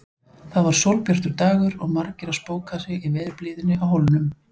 Það var sólbjartur dagur og margir að spóka sig í veðurblíðunni á Hólnum.